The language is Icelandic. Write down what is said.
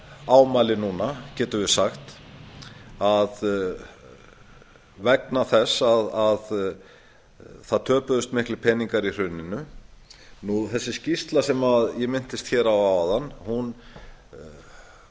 ámæli núna getum við sagt að vegna þess að það töpuðust miklir peningar í hruninu í þessari skýrslu sem ég minntist á áðan er